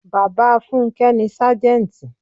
Bàbá funke ni Sájẹ́ntì.